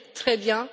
Très bien!